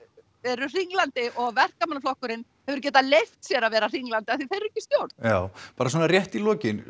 eru hringlandi og Verkamannaflokkurinn hefur getað leyft sér að vera hringlandi af því að þeir eru ekki í stjórn já bara svona rétt í lokin